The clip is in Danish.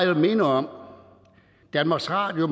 vil minde om at danmarks radio